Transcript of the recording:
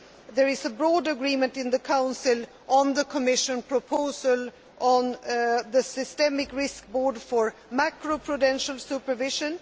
There is broad agreement in the Council on the Commission proposal on the Systemic Risk Board for macro prudential supervision.